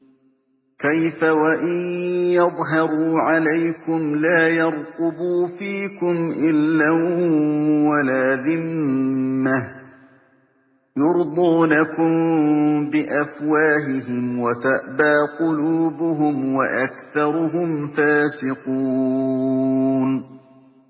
كَيْفَ وَإِن يَظْهَرُوا عَلَيْكُمْ لَا يَرْقُبُوا فِيكُمْ إِلًّا وَلَا ذِمَّةً ۚ يُرْضُونَكُم بِأَفْوَاهِهِمْ وَتَأْبَىٰ قُلُوبُهُمْ وَأَكْثَرُهُمْ فَاسِقُونَ